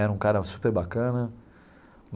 Era um cara super bacana.